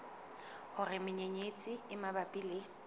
hore menyenyetsi e mabapi le